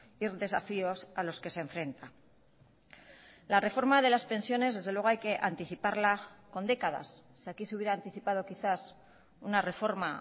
y desafíos a los que se enfrenta la reforma de las pensiones desde luego hay que anticiparla con décadas si aquí se hubiera anticipado quizás una reforma